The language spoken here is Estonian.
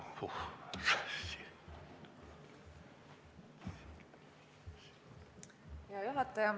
Hea juhataja!